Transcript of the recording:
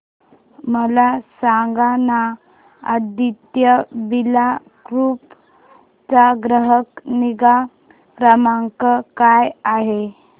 मला सांगाना आदित्य बिर्ला ग्रुप चा ग्राहक निगा क्रमांक काय आहे